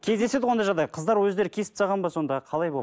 кездеседі ғой ондай жағдай қыздар өздері кесіп тастаған ба сонда қалай